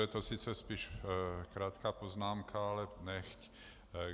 Je to sice spíš krátká poznámka, ale nechť.